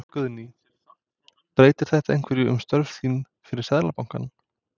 Guðný: Breytir þetta einhverju um störf þín fyrir Seðlabankann?